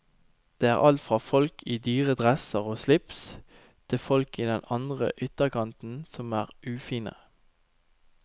Det er alt fra folk i dyre dresser og slips, til folk i den andre ytterkanten som er ufine.